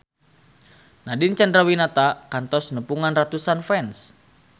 Nadine Chandrawinata kantos nepungan ratusan fans